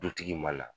Dutigi ma na